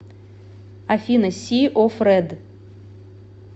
афина си оф рэд